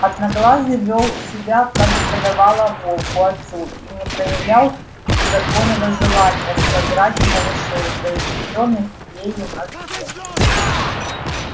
одноглазый вёл себя как и подавало волку отцу и не проявлял беззаконного желания сожрать малышей произведённых ею на свет